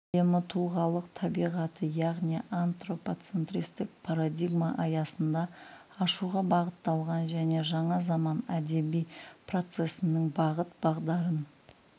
әлемі тұлғалық табиғаты яғни антропоцентристік парадигма аясында ашуға бағытталған және жаңа заман әдеби процесінің бағыт-бағдарын